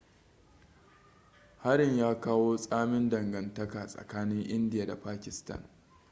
harin ya kawo tsamin dangantaka tsakanin india da pakistan